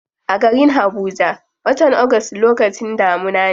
A garin habuja, watan august lokacin damuna ne.